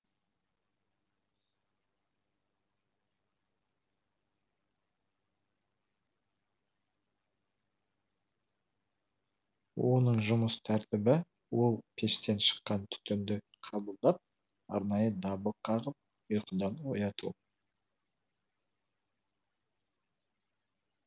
оның жұмыс тәртібі ол пештен шыққан түтінді қабылдап арнайы дабыл қағып ұйқыдан ояту